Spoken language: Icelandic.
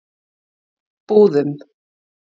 Búðum